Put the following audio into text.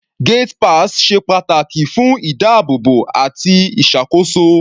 Gate pass ṣe pàtàkì fún ìdábóòbò àti ìṣàkóso.